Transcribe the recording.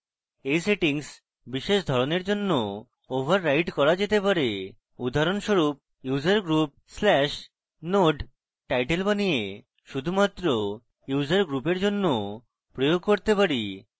এই setting বিশেষ ধরণের জন্য ওভাররাইড করা যেতে পারে উদাহরণস্বরূপ: usergroup/node: title বানিয়ে শুধুমাত্র user group এর জন্য প্রয়োগ করতে পারি